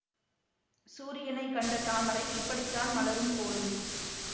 சூரியனைக் கண்ட தாமரை இப்படித்தான் மலரும் போலும்